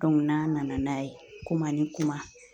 n'an nana n'a ye kuma ni kuma